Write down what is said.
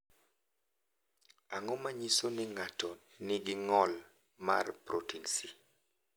Ang’o ma nyiso ni ng’ato nigi ng’ol mar Protin C?